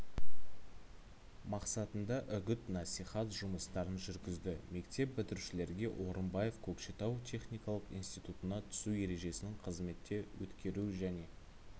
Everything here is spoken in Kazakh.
мақсатында үгіт-насихат жұмыстарын жүргізді мектеп бітірушілерге орынбаев көкшетау техникалық институтына түсу ережесін қызметте өткеру және